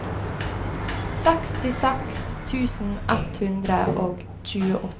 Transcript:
sekstiseks tusen ett hundre og tjueåtte